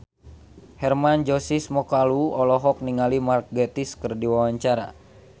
Hermann Josis Mokalu olohok ningali Mark Gatiss keur diwawancara